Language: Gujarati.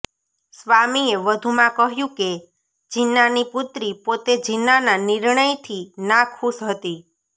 સ્વામીએ વધુમાં કહ્યું કે જીન્નાની પુત્રી પોતે જીન્નાના નિર્ણયથી ના ખુશ હતી